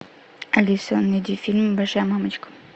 алиса найди фильм большая мамочка